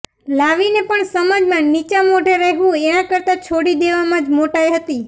લાવીને પણ સમાજમાં નીચા મોઢે રહેવું એના કરતા છોડી દેવામાં જ મોટાઈ હતી